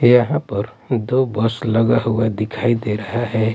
यहां पर दो बस लगा हुआ दिखाई दे रहा है।